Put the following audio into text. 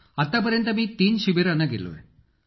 अखिल sir मी तीन शिबिरांना गेलो आहे सर